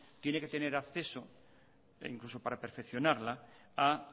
tiene que tener acceso incluso para perfeccionarla a